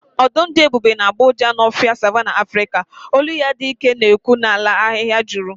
Ọdụm dị ebube na-agbọ ụja n’ofe Savanna Afrịka, olu ya dị ike na-ekwu n’ala ahịhịa juru.